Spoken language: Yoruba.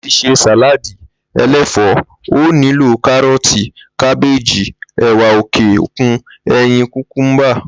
Láti s̩e sàláàdì̀ e̩lé̩fò̩ó̩, o ó nílò káró̩ò̩ti, kábéèji, è̩wà òkè-òkun, e̩yin, kùkúḿbà